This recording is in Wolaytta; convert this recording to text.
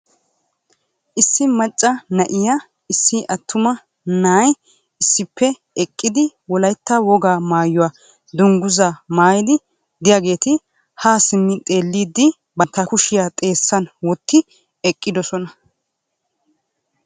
Issi macca na'iyanne issi attuma na'ay issippe eqqidi Wolaytta wogaa maayyuwa dungguza maayyidi de'iyaageeti ha simmi xeelidi bantta kushiya xeessan wotti eqqidoosona.